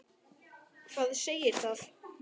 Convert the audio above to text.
Hvað segir það?